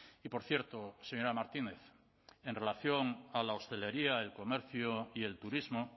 y por cierto señora martínez en relación a la hostelería el comercio y el turismo